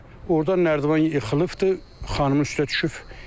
Ordan nərdivan yıxılıbdır, xanımın üstünə düşüb.